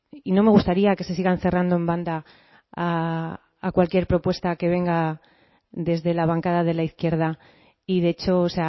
y no me gustaría que se sigan cerrando en banda a cualquier propuesta que venga desde la bancada de la izquierda y de hecho o